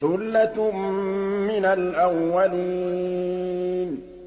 ثُلَّةٌ مِّنَ الْأَوَّلِينَ